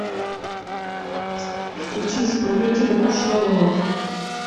включи исполнителя кушнарова